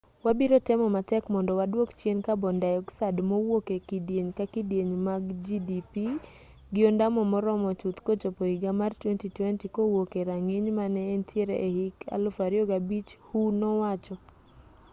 wabiro temo matek mondo waduok chien carbon dioxide mawuok e kidieny ka kidieny mar gdp gi ondamo moromo chuth kochopo higa mar 2020 kowuok e rang'iny mane entiere e hik 2005 hu nowacho